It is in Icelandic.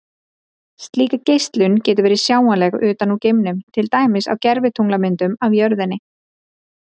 Slík geislun getur verið sjáanleg utan úr geimnum, til dæmis á gervitunglamyndum af jörðinni.